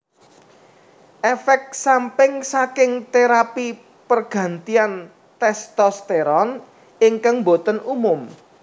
Efek samping saking terapi pergantian testosteron ingkang boten umum